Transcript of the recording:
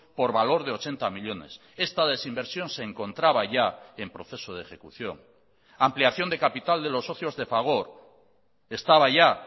por valor de ochenta millónes esta desinversión se encontraba ya en proceso de ejecución ampliación de capital de los socios de fagor estaba ya